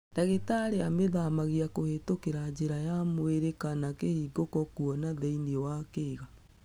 Dagĩtarĩ amĩthamagia kũhĩtũkĩra njĩra ya mwĩrĩ kana kĩhingũko kuona nthĩinĩ wa kĩga.